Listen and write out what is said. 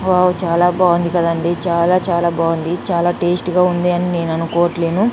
Wow చాలా బాగుంది కదండీ చాలా చాలా బాగుంది చాలా టేస్ట్ గా ఉంది అని నేను అనుకోవట్లేను.